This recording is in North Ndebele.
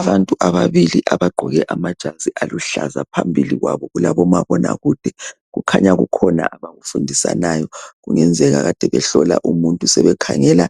Abantu ababili abagqoke amajazi aluhlaza phambili kwabo kulabo mabonakude kukhanya kukhona abakufundisanayo kungenzeka kade behlola umuntu sebekhangela